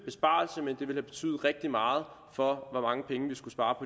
ville have betydet rigtig meget for hvor mange penge vi skulle spare